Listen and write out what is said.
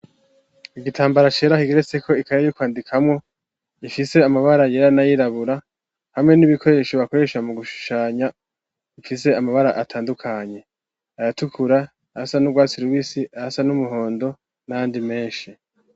Igitambara ashera kigeretseko ikaye y'ukwandikamwo ifise amabara yera na yirabura hamwe n'ibikoresho bakoresha mu gushushanya ifise amabara atandukanye aratukura asa n'urwatsirw'isi asa n'umuhondo nandi menshi.